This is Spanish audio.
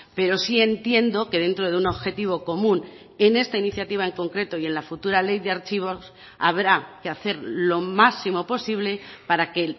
pero sí entiendo que dentro de un objetivo común en esta iniciativa en concreto y en la futura ley de archivos habrá que hacer lo máximo posible para que